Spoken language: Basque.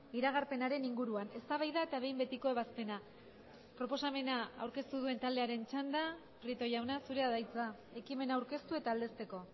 iragarpenaren inguruan eztabaida eta behin betiko ebazpena proposamena aurkeztu duen taldearen txanda prieto jauna zurea da hitza ekimena aurkeztu eta aldezteko